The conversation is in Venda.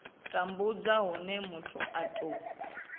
tambudzwa hune muthu a tou